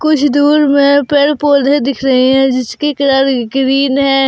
कुछ दूर में पेड़ पौधे दिख रहे हैं जिसकी कलर ग्रीन है।